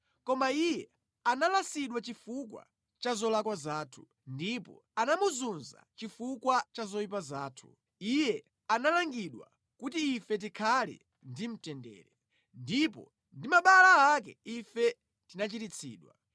Koma iye analasidwa chifukwa cha zolakwa zathu, ndipo anamuzunza chifukwa cha zoyipa zathu; iye analangidwa kuti ife tikhale ndi mtendere, ndipo ndi mabala ake ife tinachiritsidwa.